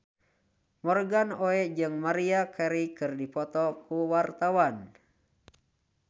Morgan Oey jeung Maria Carey keur dipoto ku wartawan